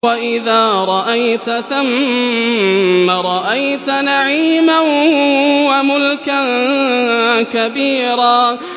وَإِذَا رَأَيْتَ ثَمَّ رَأَيْتَ نَعِيمًا وَمُلْكًا كَبِيرًا